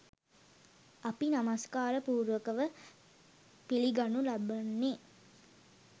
අපි නමස්කාර පූර්වකව පිළිගනු ලබන්නේ